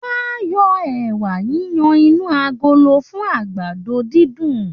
Wọ́n á yọ ẹ̀wà yiyan inú agolo fún àgbàdo-dídùn